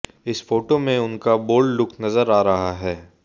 इस फोटो में उनका बाल्ड लुक नजर आ रहा है